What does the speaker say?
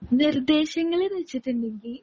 നിർദ്ദേശങ്ങളെന്നു വെച്ചിട്ടുണ്ടെങ്കി